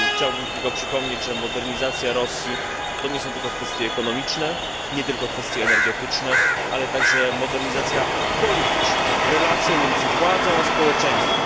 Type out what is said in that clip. Chciałbym tylko przypomnieć, że modernizacja Rosji to nie tylko kwestie ekonomiczne, nie tylko kwestie energetyczne, ale także modernizacja polityczna, relacje między władzą a społeczeństwem.